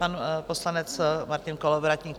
Pan poslanec Martin Kolovratník.